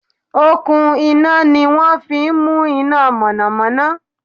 Okùn iná ni wọ́n fí n mú iná mọ̀nọ̀mọ́nọ́